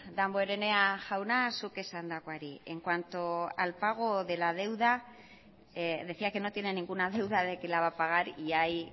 damborenea jauna zuk esandakoari en cuanto al pago de la deuda decía que no tiene ninguna deuda de que la va a pagar y ahí